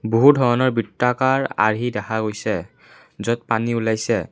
বহু ধৰণৰ বৃত্তাকাৰ আৰ্হি দেখা গৈছে য'ত পানী ওলাইছে।